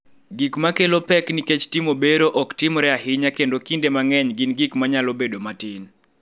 Gik ma kelo pek nikech timo bero ok timore ahinya kendo kinde mang�eny gin gik ma nyalo bedo matin.